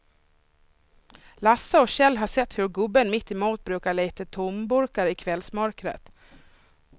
Lasse och Kjell har sett hur gubben mittemot brukar leta tomburkar i kvällsmörkret.